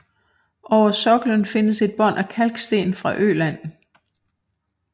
Over soklen findes et bånd af kalksten fra Øland